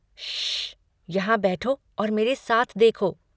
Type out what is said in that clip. श्श्श! यहाँ बैठो और मेरे साथ देखो.